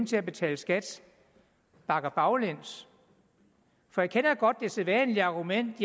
til at betale skat bakker baglæns for jeg kender godt det sædvanlige argument